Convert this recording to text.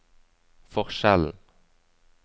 forskjellen